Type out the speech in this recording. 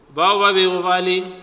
bao ba bego ba le